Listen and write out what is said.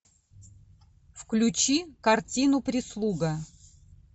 включи картину прислуга